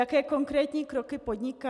Jaké konkrétní kroky podniká?